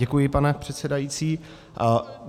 Děkuji, pane předsedající.